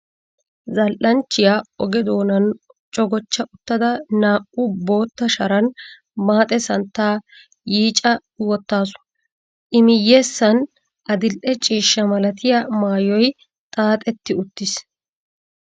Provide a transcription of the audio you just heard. Zal"anchchiya oge doonan cogochcha uttada naa"u bootta sharan maaxe santtaa yiica wottaasu. I miyyessan adil"e ciishsha malatiya maayoy xaaxetti uttiis.